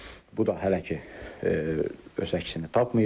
Bu da hələ ki öz əksini tapmayıb.